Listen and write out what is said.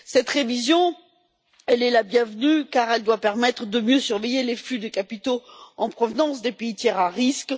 Cette révision est la bienvenue, car elle doit permettre de mieux surveiller les flux des capitaux en provenance des pays tiers à risque.